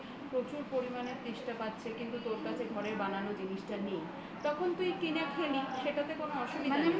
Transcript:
প্রচুর পরিমাণে তেষ্টা পাচ্ছে কিন্তু তোর কাছে ঘরের বানানো জিনিসটা নেই তখন তুই কিনে খেলি সেটাতে কোন অসুবিধা নেই